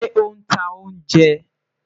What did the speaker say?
Ṣe o n ta ounjẹ?